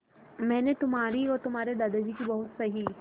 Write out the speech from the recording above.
मैंने तुम्हारी और तुम्हारे दादाजी की बहुत सही